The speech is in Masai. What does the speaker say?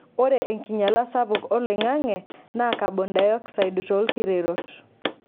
Ore enkinyalata sapuk oloingange naa kabon dayokside toolkirerot.